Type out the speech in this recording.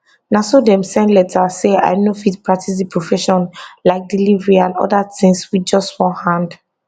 na so dem send letter say i no fit practice di profession like delivery and oda tins wit just one hand